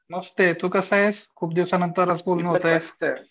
मस्त तू कसा आहेस? खूप दिवसानंतर आज बोलणं होतंय.